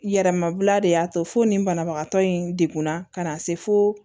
Yɛrɛmabila de y'a to fo nin banabagatɔ in degunna ka na se fo